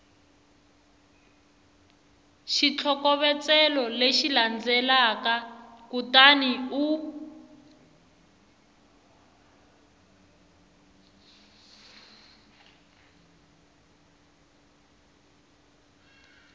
xitlhokovetselo lexi landzelaka kutani u